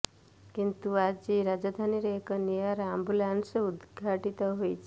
କିନ୍ତୁ ଆଜି ରାଜଧାନୀରେ ଏକ ନିଆରା ଆମ୍ବୁଲାନ୍ସ ଉଦ୍ଘାଟିତ ହୋଇଛି